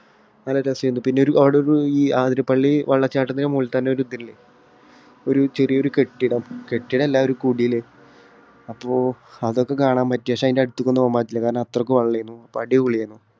നല്ല . പിന്നെ അവിടെ ആതിരപ്പള്ളി വെള്ളച്ചാട്ടത്തിന് മുകളിൽത്തന്നെ ഒരു ഇത് ഇല്ലേ ഒരു ചെറിയൊരു കെട്ടിടം? കെട്ടിടം അല്ല ഒരു കുടില് അപ്പോ അതൊക്കെ കാണാൻ പറ്റി. പക്ഷേ അതിന്റെ അടുത്തേയ്ക്ക് ഒന്നും പോകാൻ പറ്റിയില്ല. കാരണം അത്രയ്ക്ക് വെള്ളം ആയിരുന്നു. അപ്പം അടിപൊളി .